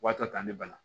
Wa ta ne bana